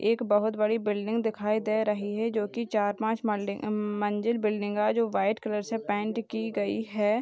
एक बहुत बड़ी बिल्डिंग दिखाई दे रही है जो की चार-पांच मॉल्डिंग अम मंजिल बिल्डिंग है जो वाइट कलर से पेंट की गई है।